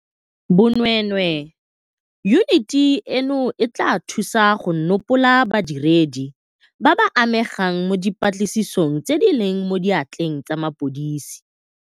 Bo nweenwee, yuniti eno e tla thusa go nopola badiredi ba ba amegang mo dipatlisisong tse di leng mo diatleng tsa mapodisi.